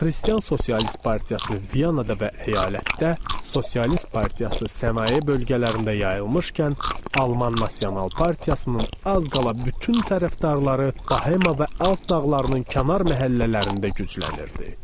Xristian Sosialist partiyası Viyanada və əyalətdə, Sosialist partiyası sənaye bölgələrində yayılmışkən, Alman Nasional partiyasının az qala bütün tərəfdarları Bohema və Alp dağlarının kənar məhəllələrində güclənirdi.